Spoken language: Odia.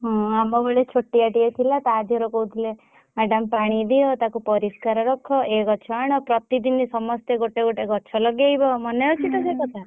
ହଁ ଆମ ବେଳେ ଛୋଟିଆ ଟା ଥିଲା ତା ଧେରେ କହୁଥିଲେ madam ପାଣି ଦିଅ ପରିଷ୍କାର ରଖ ଏ ଗଛ ଆଣ ପ୍ରତି ଦିନ ସମସ୍ତେ ଗୋଟେ ଗୋଟେ ଗଛ ଲଗେଇବ ମନେ ଅଛି ତ ସେ କଥା।